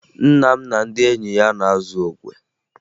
Nna m na ndị enyi ya na-azụ okwe